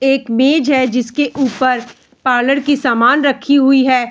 एक मेज है जिसके ऊपर पार्लर की सामान रखी हुई है।